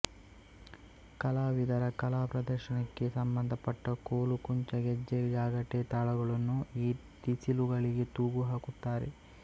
ಕಲಾವಿದರ ಕಲಾ ಪ್ರದರ್ಶನಕ್ಕೆ ಸಂಬಂಧಪಟ್ಟ ಕೋಲು ಕುಂಚ ಗೆಜ್ಜೆ ಜಾಗಟೆ ತಾಳಗಳನ್ನು ಈ ಟಿಸಿಲುಗಳಿಗೆ ತೂಗು ಹಾಕುತ್ತಾರೆ